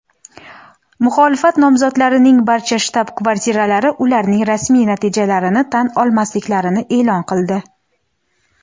Muxolifat nomzodlarining barcha shtab-kvartiralari ularning rasmiy natijalarini tan olmasliklarini e’lon qildi.